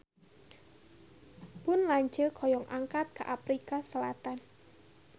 Pun lanceuk hoyong angkat ka Afrika Selatan